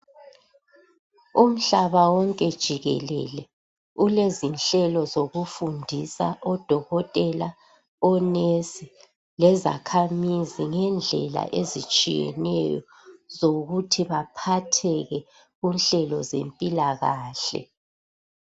umhlaba wonke jikelele ulezinhlelo zokufundisa odokotela onesi lezakhamizi indlela ezitshiyeneyo zokuthi baphatheke kunhlelo zempilakahle